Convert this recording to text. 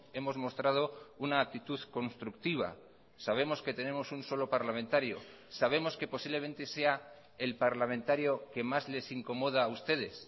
hemos mostrado una actitud constructiva sabemos que tenemos un solo parlamentario sabemos que posiblemente sea el parlamentario que más les incomoda a ustedes